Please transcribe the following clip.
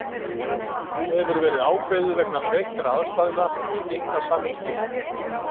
Nú hefur verið ákveðið vegna breyttra aðstæðna að stytta samningstímann.